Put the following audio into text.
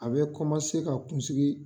A bɛ ka kunsigi